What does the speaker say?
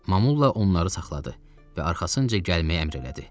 Mamulla onları saxladı və arxasınca gəlməyə əmr elədi.